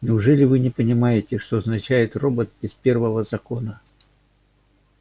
неужели вы не понимаете что означает робот без первого закона